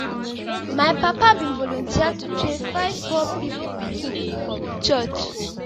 my papa bin volunteer to train five poor pipu pikin for we church.